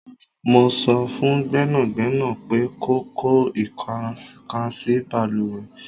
Mó so fun Gbẹ́nàgbẹ́nà pé kò kọ ikokansi baluwe